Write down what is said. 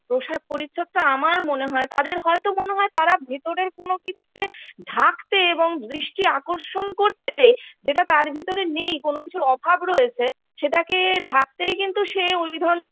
পোশাক পরিচ্ছদটা আমার মনে হয় তাদের হয়তো মনে হয় তারা ভেতরের কোন কিছুকে ঢাকতে এবং দৃষ্টি আকর্ষণ করতে যেটা তার ভিতরে নেই কোন কিছুর অভাব রয়েছে সেটাকে ঢাকতেই কিন্তু সে ওই ধরনের